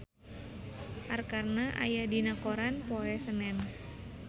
Arkarna aya dina koran poe Senen